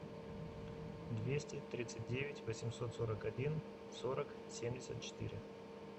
двести тридцать девять восемьсот сорок один сорок семьдесят четыре